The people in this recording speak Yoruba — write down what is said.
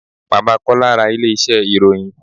Bàbá Kọ́lá ra ilé iṣẹ́ ìròyìn.